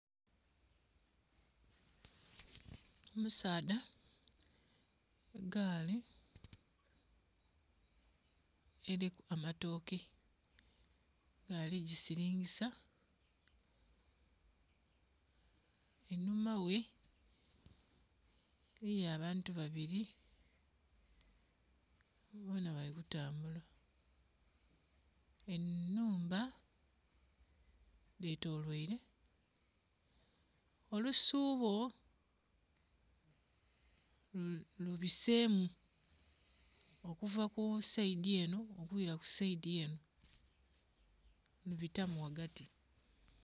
Omusaadha ku gaali eriku amatooke nga ali gisiringisa. Einhuma ghe eriyo abantu babiri bona bali kutambula. Ennhumba dhetoloire, olusuubo lubisemu okuva ku sayidi eno okwira ku sayidi eno, lubitamu ghagati.